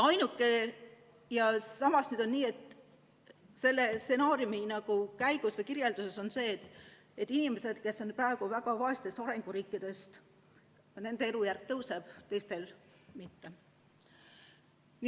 Ja samas on nii, et selle stsenaariumi kirjelduse järgi on nii, et inimestel, kes elavad praegu väga vaestes arenguriikides, elujärg tõuseb, teistel mitte.